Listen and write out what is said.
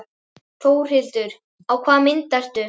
Þórhildur: Á hvaða mynd ertu?